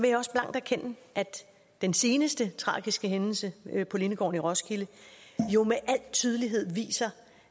jeg også blankt erkende at den seneste tragiske hændelse på lindegården i roskilde jo med al tydelighed viser